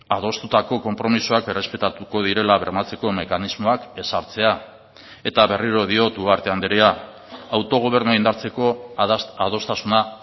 adostutako konpromisoak errespetatuko direla bermatzeko mekanismoak ezartzea eta berriro diot ugarte andrea autogobernua indartzeko adostasuna